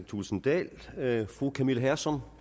thulesen dahl fru camilla hersom